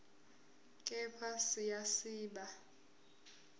kepha siya siba